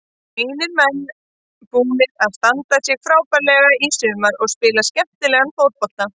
Mínir menn búnir að standa sig frábærlega í sumar og spila skemmtilegan fótbolta.